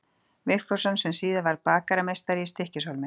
Vigfússon sem síðar varð bakarameistari í Stykkishólmi.